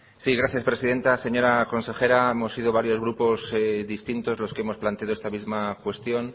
sí gracias presidenta señora consejera hemos sido varios grupos distintos los que hemos planteado esta misma cuestión